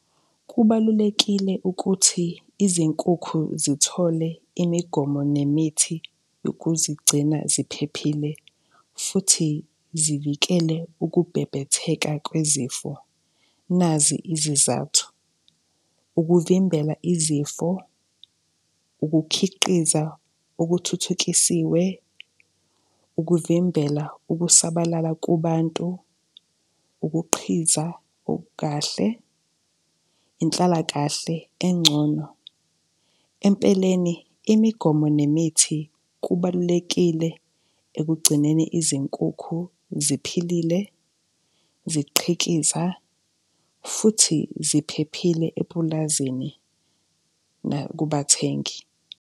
Kubalulekile ukuthi izinkukhu zithole imigomo nemithi yokuzigcina ziphephile futhi zivikele ukubhebhetheka kwezifo. Nazi izizathu, ukuvimbela izifo, ukukhiqiza okuthuthukisiwe, ukuvimbela ukusabalala kubantu, ukuqhiza okukahle, inhlalakahle engcono. Empeleni, imigomo nemithi kubalulekile ekugcineni izinkukhu ziphilile, ziqhikhiza futhi ziphephile epulazini nakubathengi.